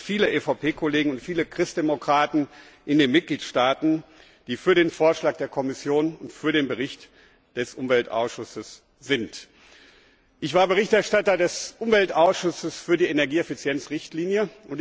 Aber viele EVP Kollegen, viele Christdemokraten in den Mitgliedstaaten, sind für den Vorschlag der Kommission und für den Bericht des Umweltausschusses. Ich war Berichterstatter des Umweltausschusses für die Energieeffizienz Richtlinie.